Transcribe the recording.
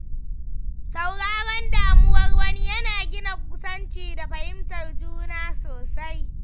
Sauraron damuwar wani ya na gina kusanci da fahimtar juna sosai.